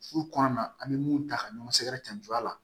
Furu kɔnɔna an bɛ mun ta ka ɲɔgɔn sɛgɛrɛ cɛn jɔ a la